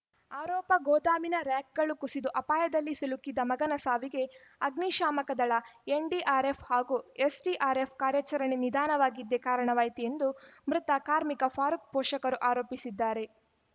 ಆರೋಪ ಗೋದಾಮಿನ ರಾರ‍ಯಕ್‌ಗಳು ಕುಸಿದು ಅಪಾಯದಲ್ಲಿ ಸಿಲುಕಿದ್ದ ಮಗನ ಸಾವಿಗೆ ಅಗ್ನಿಶಾಮಕ ದಳ ಎನ್‌ಡಿಆರ್‌ಎಫ್‌ ಹಾಗೂ ಎಸ್‌ಡಿಆರ್‌ಎಫ್‌ಗಳ ಕಾರ್ಯಾಚರಣೆ ನಿಧಾನವಾಗಿದ್ದೇ ಕಾರಣವಾಯಿತು ಎಂದು ಮೃತ ಕಾರ್ಮಿಕ ಫಾರೂಕ್‌ ಪೋಷಕರು ಆರೋಪಿಸಿದ್ದಾರೆ